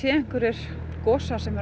einhverjir gosar sem eru